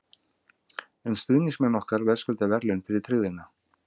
En stuðningsmenn okkar verðskulda verðlaun fyrir tryggðina.